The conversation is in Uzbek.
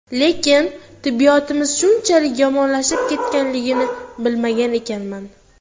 Lekin tibbiyotimiz shunchalik yomonlashib ketganligini bilmagan ekanman.